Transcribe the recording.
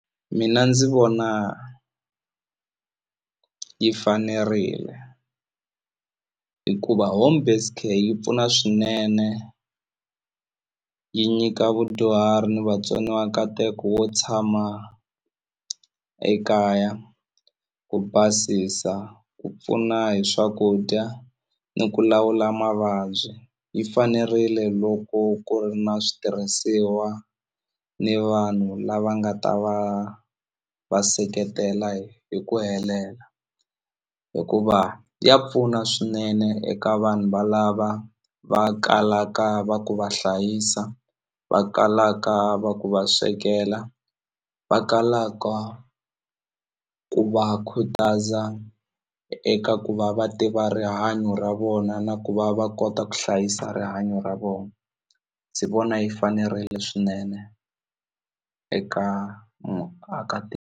Mina ndzi vona yi fanerile hikuva home based care yi pfuna swinene yi nyika vudyuhari ni vatsoniwa nkateko wo tshama ekaya ku basisa ku pfuna hi swakudya ni ku lawula mavabyi yi fanerile loko ku ri na switirhisiwa ni vanhu lava nga ta va va seketela hi hi ku helela hikuva ya pfuna swinene eka vanhu valava va kalaka va ku va hlayisa va kalaka va ku va swekela va kalaka ku va khutaza eka ku va va tiva rihanyo ra vona na ku va va kota ku hlayisa rihanyo ra vona ndzi vona yi fanerile swinene eka .